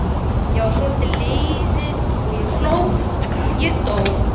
Svo var ég lifði ég hló ég dó